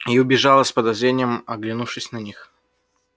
и убежала с подозрением оглянувшись на них